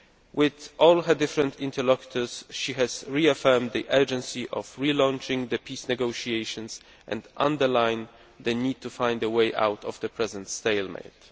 With all her different interlocutors she has reaffirmed the urgency of relaunching the peace negotiations and underlined the need to find a way out of the present stalemate.